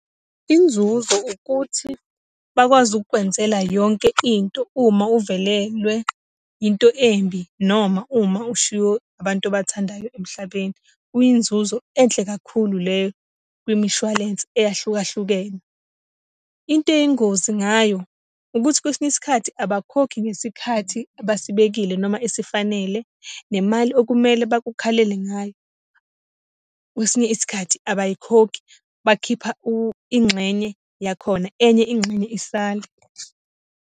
Inzuzo ukuthi bakwazi ukukwenzela yonke into uma uvelelwe into embi, noma uma ushiywe abantu obathandayo emhlabeni. Kuyinzuzo enhle kakhulu leyo kwimishwalense eyahlukahlukene. Into eyingozi ngayo ukuthi kwesinye isikhathi, abakhokhi ngesikhathi abasibekile noma esifanele. Le mali okumele bakukhalele ngayo, kwesinye isikhathi abayikhokhi, bakhipha ingxenye yakhona enye ingxenye isala